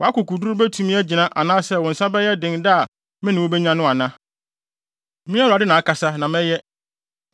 Wʼakokoduru betumi agyina anaasɛ wo nsa bɛyɛ den da a mene wo benya no ana? Me Awurade na akasa, na mɛyɛ.